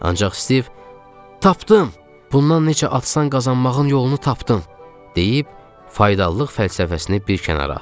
Ancaq Stiv, tapdım, bundan necə asan qazanmağın yolunu tapdım, deyib faydalılıq fəlsəfəsini bir kənara atdı.